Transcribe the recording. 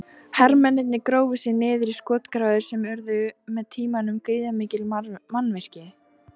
Hermennirnir grófu sig niður í skotgrafir sem urðu með tímanum gríðarmikil mannvirki.